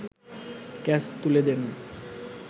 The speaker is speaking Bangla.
ক্যাচ তুলে দেন